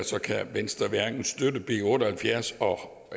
kan venstre hverken støtte b otte og halvfjerds